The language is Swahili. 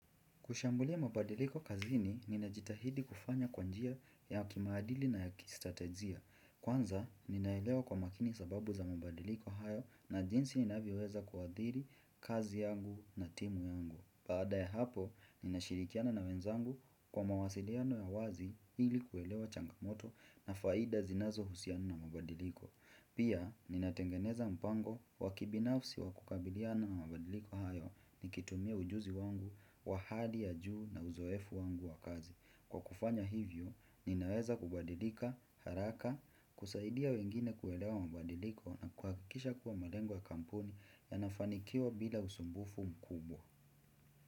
Kushambulia mabadiliko kazini, ninajitahidi kufanya kwa njia ya kimaadili na ya kistratejia. Kwanza, ninaelewa kwa makini sababu za mabadiliko hayo na jinsi inavyoweza kuadhiri kazi yangu na timu yangu. Baada ya hapo, nina shirikiana na wenzangu kwa mawasiliano ya wazi ili kuelewa changamoto na faida zinazo husiana na mabadiliko. Pia, ninatengeneza mpango wakibinafsi wakukabiliana na mabadiliko hayo nikitumia ujuzi wangu, wahali ya juu na uzoefu wangu wa kazi. Kwa kufanya hivyo, ninaweza kubadilika, haraka, kusaidia wengine kuelewa mabadiliko na kuhakikisha kuwa malengo ya kampuni yanafanikiwa bila usumbufu mkubwa.